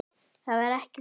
Það var ekki gott.